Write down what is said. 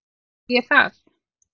Sagði ég það?